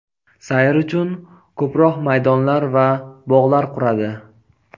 sayr uchun ko‘proq maydonlar va bog‘lar quradi.